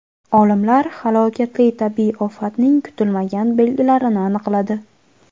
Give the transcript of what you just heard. Olimlar halokatli tabiiy ofatning kutilmagan belgilarini aniqladi.